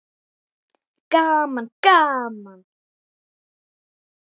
Gaman gaman!